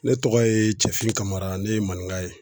Ne tɔgɔ ye Cɛfin Kamara. Ne ye maninka ye.